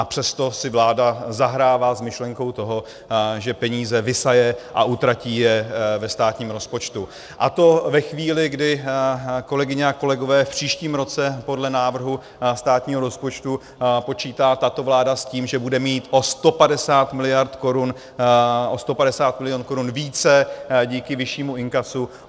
A přesto si vláda zahrává s myšlenkou toho, že peníze vysaje a utratí je ve státním rozpočtu, a to ve chvíli, kdy, kolegyně a kolegové, v příštím roce podle návrhu státního rozpočtu počítá tato vláda s tím, že bude mít o 150 miliard korun více díky vyššímu inkasu.